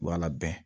Wala bɛn